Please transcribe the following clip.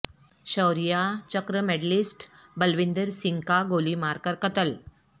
شوریہ چکرمیڈ لسٹ بلوندر سنگھ کا گولی مار کر قتل